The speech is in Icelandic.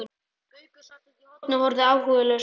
Gaukur sat úti í horni og horfði áhugalaus á okkur.